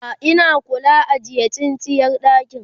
a Ina kuka ajiye tsintsiyar ɗakin?